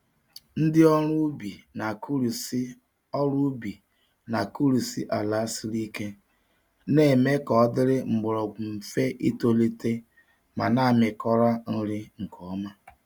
Ndị ọrụ ubi na-akụrisị ọrụ ubi na-akụrisị ala siri ike, na-eme ka ọ dịrị mgbọrọgwụ mfe itolite ma na-amịkọrọ nri nke ọma.